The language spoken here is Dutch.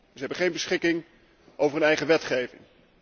Zij hebben geen beschikking over hun eigen wetgeving.